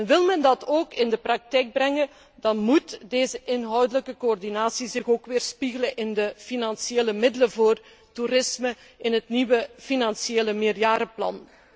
Wil men dat ook in de praktijk brengen, dan moet deze inhoudelijke coördinatie zich weerspiegelen in de financiële middelen voor toerisme in het nieuwe financiële meerjarenplan.